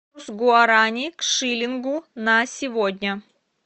гуарани к шиллингу на сегодня